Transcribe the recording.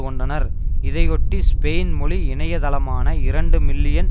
கொண்டனர் இதையொட்டி ஸ்பெயின் மொழி இணைய தளமான இரண்டு மில்லியன்